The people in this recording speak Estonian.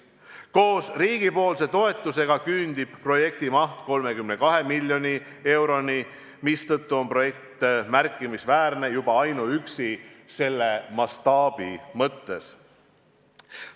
Koos riigi toetusega küündib projekti maht 32 miljoni euroni, mistõttu on see märkimisväärne juba ainuüksi mastaabi mõttes.